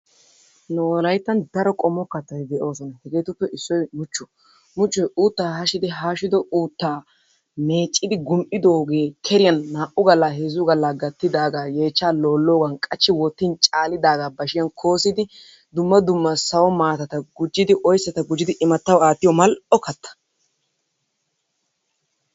Nu wolayttan daro qommo kattati de'oosonna. Hegeetuppe issoy muchchuwa. Muchchoy uuttaa haashshidi haashshido uuttaa meeccidi gum'idoogee keriyan naa'u gala heezzu gala gattidaagaa yeechchaa loologan qachchi wottin caalidagaa bashshiyaan koosidi dumma dumma sawo maatata gujjidi oyssata gujjidi imattawu aattiyo mal'o katta.